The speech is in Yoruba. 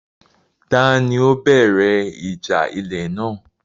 Ta ni ó bẹ̀rẹ̀ ìjà ilẹ̀ náà?